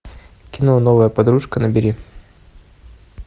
кино новая подружка набери